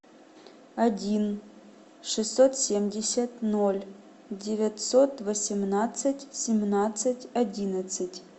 один шестьсот семьдесят ноль девятьсот восемнадцать семнадцать одиннадцать